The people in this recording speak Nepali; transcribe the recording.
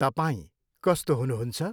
तपाईँं कस्तो हुनुहुन्छ?